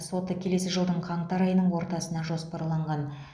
соты келесі жылдың қаңтар айының ортасына жоспарланған